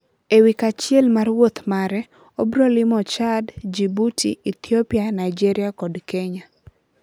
e wik achiel mar wuoth mare, obrolimo Chad, Djibouti, Ethiopia, Nigeria kod Kenya.